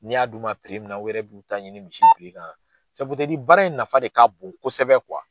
Ni y'a dun ma munna u yɛrɛ b'u ta ɲini misi kan baara in nafa de'a bon kosɛbɛ